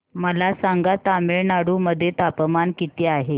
मला सांगा तमिळनाडू मध्ये तापमान किती आहे